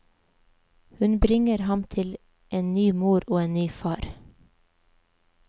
Hun bringer ham til en ny mor og en ny far.